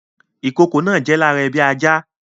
Ìkokò náà jẹ́ lára ebi ajá